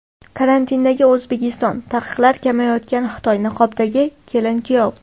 Karantindagi O‘zbekiston, taqiqlari kamayayotgan Xitoy, niqobdagi kelin-kuyov.